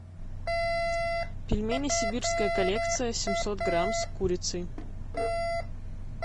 пельмени сибирская коллекция семьсот грамм с курицей